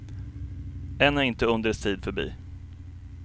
Än är inte undrens tid förbi.